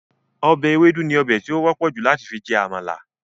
Ọbẹ̀ ewédú ni ọbè ti ó wọ́pọ̀ jù láti fi jẹ àmàlà